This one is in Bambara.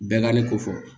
Bɛnkanni ko fɔ